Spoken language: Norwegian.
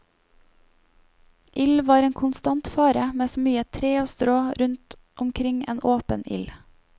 Ild var en konstant fare med så mye tre og strå rundt omkring en åpen ild.